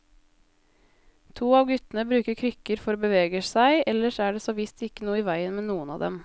To av guttene bruker krykker for å bevege seg, ellers er det såvisst ikke noe i veien med noen av dem.